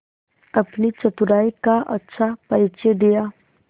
अपनी चतुराई का अच्छा परिचय दिया